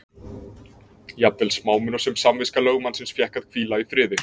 Jafnvel smámunasöm samviska lögmannsins fékk að hvíla í friði.